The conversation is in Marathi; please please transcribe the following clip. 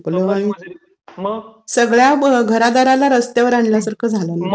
सगळ्या घरादाराला रस्त्यावर आणल्यासारखं झालं रे.